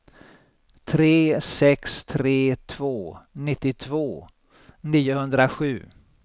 tre sex tre två nittiotvå niohundrasju